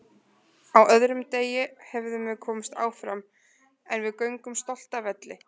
Hann hafði haft trompásinn uppi í erminni